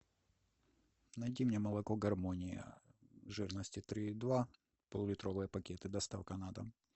найти мне молоко гармония жирности три и два пол литровые пакеты доставка на дом